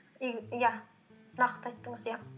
иә нақты айттыңыз иә